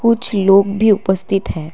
कुछ लोग भी उपस्थित हैं।